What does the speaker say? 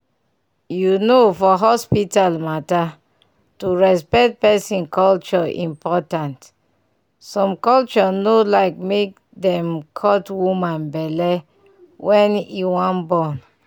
you know for hospital matter to respect person culture importantsome culture no like make dem cut woman belle wen e wan born.